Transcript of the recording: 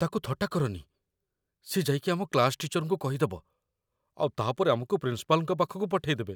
ତାକୁ ଥଟ୍ଟା କରନି । ସିଏ ଯାଇକି ଆମ କ୍ଲାସ୍‌ ଟିଚରଙ୍କୁ କହିଦବ ଆଉ ତା'ପରେ ଆମକୁ ପ୍ରିନ୍ସିପାଲ୍‌ଙ୍କ ପାଖକୁ ପଠେଇ ଦେବେ ।